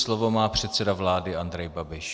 Slovo má předseda vlády Andrej Babiš.